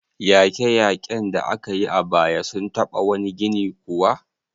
Yaƙe-yaƙen da aka yi a baya sun taɓa wani gini kuwa?